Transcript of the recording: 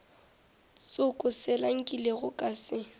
tsoko sela nkilego ka se